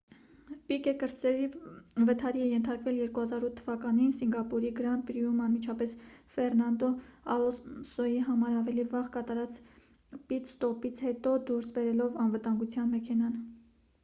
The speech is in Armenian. պիկե կրտսերը վթարի է ենթարկվել 2008 թ.-ին սինգապուրի գրանդ պրիում՝ անմիջապես ֆերնանդո ալոնսոյի համար ավելի վաղ կատարած պիտ-ստոպից հետո՝ դուրս բերելով անվտանգության մեքենան։